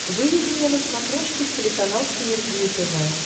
выведи мне на смотрешке телеканал синергия тв